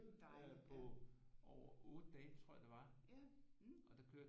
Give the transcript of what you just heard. På over 8 dage tror jeg det var og der kørte